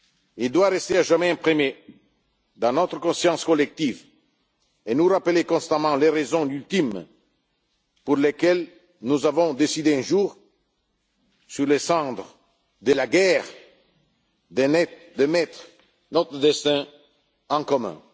Il doit rester à jamais imprimé dans notre conscience collective et nous rappeler constamment les raisons ultimes pour lesquelles nous avons décidé un jour, sur les cendres de la guerre, de mettre notre destin en commun.